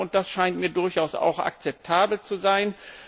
Das scheint mir durchaus auch akzeptabel zu sein.